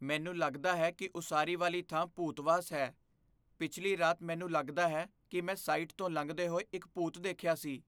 ਮੈਨੂੰ ਲਗਦਾ ਹੈ ਕਿ ਉਸਾਰੀ ਵਾਲੀ ਥਾਂ ਭੂਤਵਾਸ ਹੈ। ਪਿਛਲੀ ਰਾਤ ਮੈਨੂੰ ਲਗਦਾ ਹੈ ਕਿ ਮੈਂ ਸਾਈਟ ਤੋਂ ਲੰਘਦੇ ਹੋਏ ਇੱਕ ਭੂਤ ਦੇਖਿਆ ਸੀ।